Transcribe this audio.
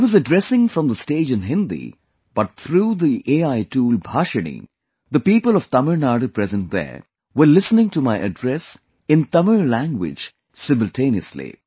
I was addressing from the stage in Hindi but through the AI tool Bhashini, the people of Tamil Nadu present there were listening to my address in Tamil language simultaneously